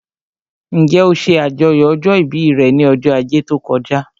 Njẹ́ ó ṣe àjọyọ̀ ọjọ́ ìbí rẹ̀ ní ọjọ́ ajé tó kọjá?